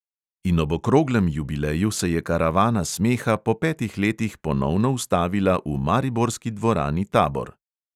In ob okroglem jubileju se je karavana smeha po petih letih ponovno ustavila v mariborski dvorani tabor.